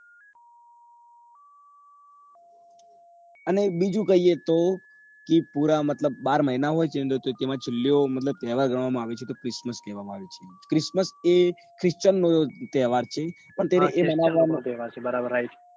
અને બીજું કીએ તો એ પુરા બાર મહિના હોય છે માં છેલ્લો મતલબ તહેવાર ગણવા માં આવે છે તો એ crismistmas એ christian નો તહેવાર છે પણ એ મનાવવા માં હા એ christian ઓ નો તહેવાર છે બરાબર right